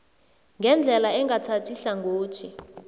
ngendlela engathathi hlangothi